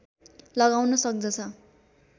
लगाउन सक्दछ